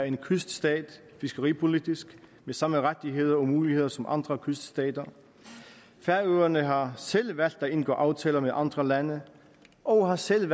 en kyststat fiskeripolitisk med samme rettigheder og muligheder som andre kyststater færøerne har selv valgt at indgå aftaler med andre lande og har selv